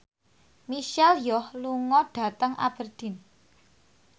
Michelle Yeoh lunga dhateng Aberdeen